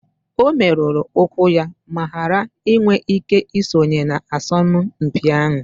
O merụrụ ụkwụ ya ma ghara iwe ike isonye na asọmpi ahụ